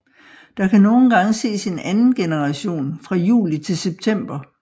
Der kan nogle gange ses en anden generation fra juli til september